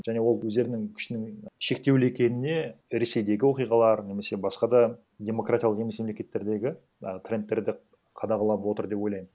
және ол өздерінің күшінің шектеулі екеніне ресейдегі оқиғалар немесе басқа да демократиялық емес мемлекеттердегі а трендтерді қадағалап отыр деп ойлаймын